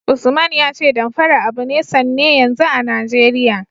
Usman ya ce Damfara abu ne sanne yanzu a Najeriya.